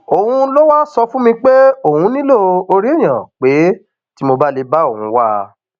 òun ló wáá sọ fún mi pé òun nílò orí èèyàn pé tí mo bá lè bá òun wá a